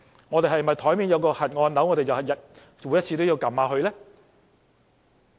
我們是否因為桌面有個"核按鈕"，便每次也要按一按呢？